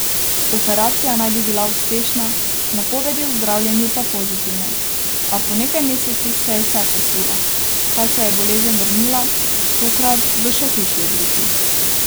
Operacija naj bi bila uspešna, napovedi o zdravljenju pa pozitivne, a po nekaj mesecih se je vse sesulo, saj se je bolezen vrnila, tokrat v še hujši obliki.